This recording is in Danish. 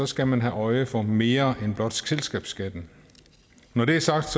skal man have øje for mere end blot selskabsskatten når det er sagt